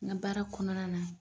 N ka baara kɔnɔna na.